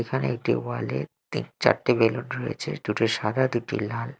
এখানে একটি ওয়ালে -এ তিন চারটি বেলুন রয়েছে দুটি সাদা দুটি লাল।